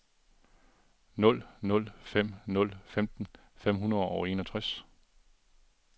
nul nul fem nul femten fem hundrede og enogtres